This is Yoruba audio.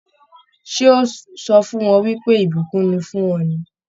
Ṣé ó sọ fún ọ wípé ìbùkún ni fún ọ ni?